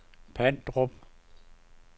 Pandrup